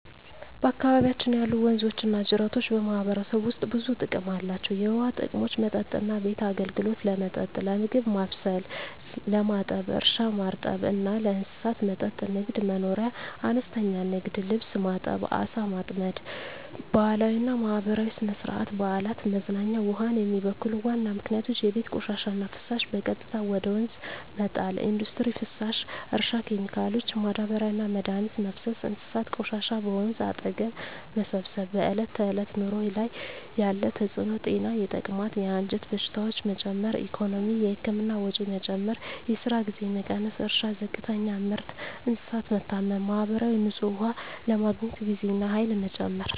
በአካባቢያችን ያሉ ወንዞችና ጅረቶች በማህበረሰቡ ውስጥ ብዙ ጥቅሞች አላቸው፣ የውሃ ጥቅሞች መጠጥና ቤት አገልግሎት – ለመጠጥ፣ ለምግብ ማብሰል፣ ለማጠብ እርሻ – ማርጠብ እና ለእንስሳት መጠጥ ንግድ/መኖርያ – አነስተኛ ንግድ (ልብስ ማጠብ፣ ዓሣ ማጥመድ) ባህላዊና ማህበራዊ – ሥነ-ሥርዓት፣ በዓላት፣ መዝናኛ ውሃን የሚበክሉ ዋና ምክንያቶች የቤት ቆሻሻና ፍሳሽ – በቀጥታ ወደ ወንዝ መጣል ኢንዱስትሪ ፍሳሽ – እርሻ ኬሚካሎች – ማዳበሪያና መድኃኒት መፍሰስ እንስሳት ቆሻሻ – በወንዝ አጠገብ መሰብሰብ በዕለት ተዕለት ኑሮ ላይ ያለ ተጽዕኖ ጤና – የተቅማጥ፣ የአንጀት በሽታዎች መጨመር ኢኮኖሚ – የህክምና ወጪ መጨመር፣ የስራ ጊዜ መቀነስ እርሻ – ዝቅተኛ ምርት፣ እንስሳት መታመም ማህበራዊ – ንጹህ ውሃ ለማግኘት ጊዜና ኃይል መጨመር